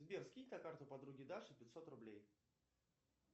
сбер скинь на карту подруге даше пятьсот рублей